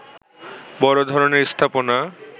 বড় ধরনের স্থাপনা